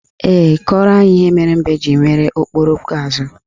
Ee, kọrọ anyị akụkọ ihe mere mbe ji nwere okpokoro azụ.